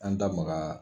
An da magara